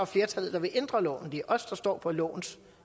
flertal der vil ændre loven det er os der står på lovens